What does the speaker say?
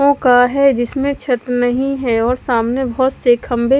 का है जिसमें छत नहीं है और सामने बहुत से खंभे--